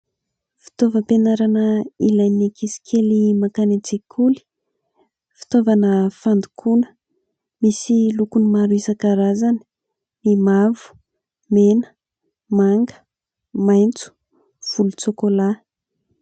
Fitaovam-pianarana ilain'ny ankizy kely mankany an-tsekoly. Fitaovana fandokoana, misy lokony maro isankarazany : ny mavo, mena, manga, maitso, volontsokola.